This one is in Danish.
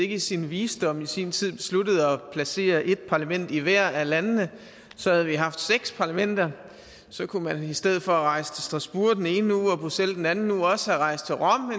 i sin visdom i sin tid besluttede at placere et parlament i hvert af landene så havde vi haft seks parlamenter og så kunne man i stedet for at rejse til strasbourg den ene uge og bruxelles den anden uge også have rejst til rom